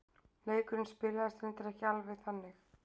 Leikurinn spilaðist reyndar ekki alveg þannig.